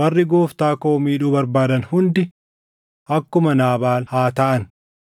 warri gooftaa koo miidhuu barbaadan hundi akkuma Naabaal haa taʼan.